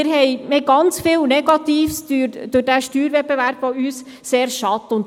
Wir haben durch diesen Steuerwettbewerb sehr viel Negatives, was uns sehr schadet.